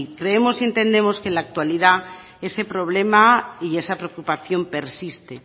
creemos y entendemos que en la actualidad ese problema y esa preocupación persiste